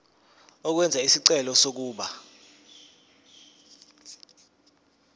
ukwenza isicelo sokuba